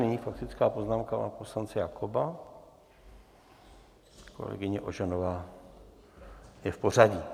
Nyní faktická poznámka pana poslance Jakoba, kolegyně Ožanová je v pořadí.